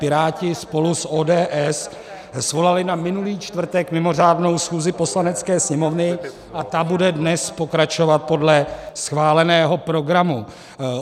Piráti spolu s ODS svolali na minulý čtvrtek mimořádnou schůzi Poslanecké sněmovny a ta bude dnes pokračovat podle schváleného programu.